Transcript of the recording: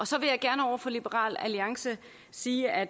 så vil jeg gerne over for liberal alliance sige at